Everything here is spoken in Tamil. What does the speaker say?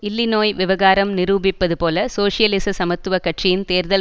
இல்லிநோய் விவகாரம் நிரூபிப்பது போல சோசியலிச சமத்துவ கட்சியின் தேர்தல்